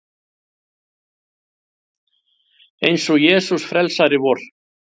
Eins og Jesús frelsari vor.